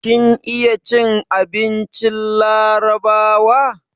Kin iya cin abincin larabawa?